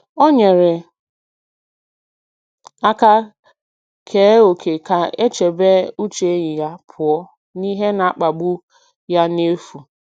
Ọ nyere aka kee ókè ka e chebe uche enyi ya pụọ n’ihe na-akpagbu ya n’efu.